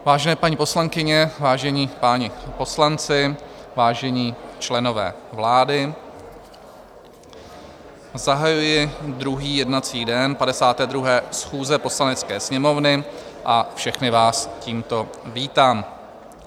Vážené paní poslankyně, vážení páni poslanci, vážení členové vlády, zahajuji druhý jednací den 52. schůze Poslanecké sněmovny a všechny vás tímto vítám.